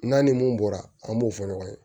N'a ni mun bɔra an b'o fɔ ɲɔgɔn ye